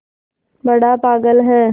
बड़ा पागल है